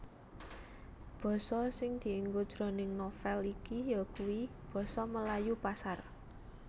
Basa sing dienggo jroning novèl iki yakuwi basa Melayu Pasar